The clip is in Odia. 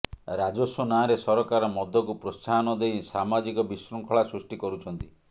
ରାଜସ୍ୱ ନାଁରେ ସରକାର ମଦକୁ ପ୍ରୋତ୍ସାହନ ଦେଇ ସାମାଜିକ ବିଶୃଙ୍ଖଳା ସୃଷ୍ଟି କରୁଛନ୍ତି